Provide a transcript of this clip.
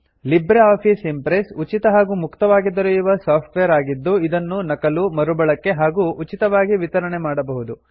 Libre Office Impress ಉಚಿತ ಹಾಗೂ ಮುಕ್ತವಾಗಿ ದೊರೆಯುವ ಸಾಫ್ಟ್ ವೇರ್ ಆಗಿದ್ದು ಇದನ್ನು ನಕಲು ಮರುಬಳಕೆ ಹಾಗೂ ಉಚಿತವಾಗಿ ವಿತರಣೆ ಮಾಡಬಹುದು